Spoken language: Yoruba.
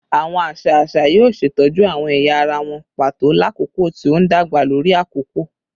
Awọn aṣa aṣa yoo ṣetọju awọn ẹya ara wọn pato lakoko ti o ndagba lori akoko